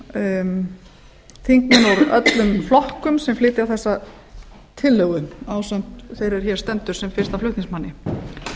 úr öllum flokkum sem flytja þessa tillögu ásamt þeirri er hér stendur sem fyrsti flutningsmaður það er